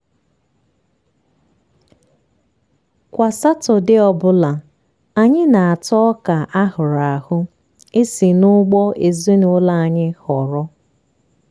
kwa satọdee ọbụla anyị na-ata ọka a hụrụ ahụ e si n'ugbo ezinụlọ anyị họrọ.